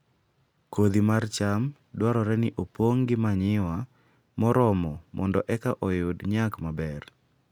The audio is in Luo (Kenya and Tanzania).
Kodhi mar cham dwarore ni opong' gi manyiwa moromo mondo eka oyud nyak maber